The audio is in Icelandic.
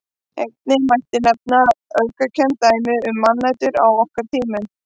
Einnig mætti nefna öfgakennd dæmi um mannætur á okkar tímum.